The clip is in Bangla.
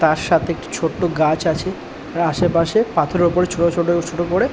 তার সাথে একটি ছোট্ট গাছ আছে তার আশেপাশে পাথরের উপরে ছোট ছোট ছোট করে--